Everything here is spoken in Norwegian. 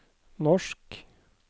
norsk